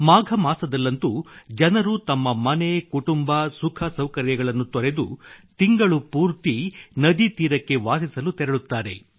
ಮಾಘ ಮಾಸದಲ್ಲಂತೂ ಜನರು ತಮ್ಮ ಮನೆ ಕುಟುಂಬ ಸುಖ ಸೌಕರ್ಯಗಳನ್ನು ತೊರೆದು ತಿಂಗಳು ಪೂರ್ತಿ ನದೀತೀರಕ್ಕೆ ವಾಸಿಸಲು ತೆರಳುತ್ತಾರೆ